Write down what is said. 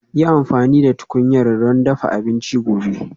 Yi amfani da tukunyar don dafa abinci gobe